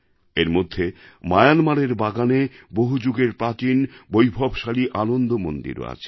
এর মধ্যে মায়ানমারের বাগানে বহুযুগের প্রাচীন বৈভবশালী আনন্দ মন্দিরও আছে